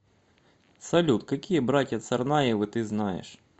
салют какие братья царнаевы ты знаешь